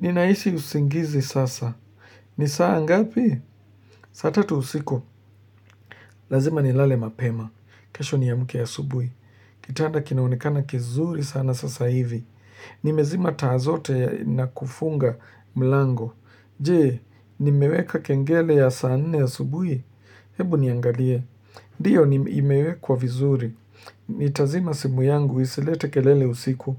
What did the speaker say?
Ninahisi usingizi sasa. Ni saa ngapi? Saa tatu usiku. Lazima nilale mapema. Kesho niamke asubui. Kitanda kinaonekana kizuri sana sasa hivi. Nimezima taa zote na kufunga mlango. Je, nimeweka kengele ya saa nne asubui? Hebu niangalie. Ndiyo ni imewekwa vizuri, nitazima simu yangu isilete kelele usiku,